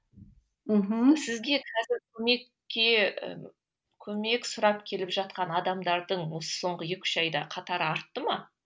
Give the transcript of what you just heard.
мхм сізге қазір көмекке көмек сұрап келіп жатқан адамдардың осы соңғы екі үш айда қатары артты ма